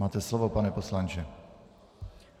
Máte slovo, pane poslanče.